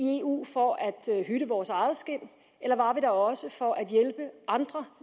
i eu for at hytte vores eget skind eller var der også for at hjælpe andre